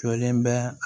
Jɔlen bɛ